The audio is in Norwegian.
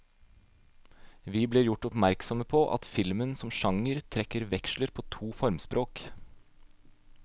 Vi blir gjort oppmerksomme på at filmen som sjanger trekker veksler på to formspråk.